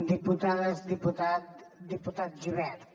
diputades diputats diputat gibert